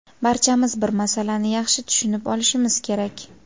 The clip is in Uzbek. barchamiz bir masalani yaxshi tushunib olishimiz kerak.